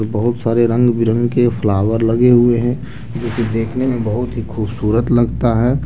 बहुत सारे रंग बिरंगे के फ्लावर लगे हुए हैं जिसे देखने में बहुत ही खूबसूरत लगता है।